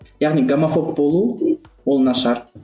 яғни гомофоб болу ол нашар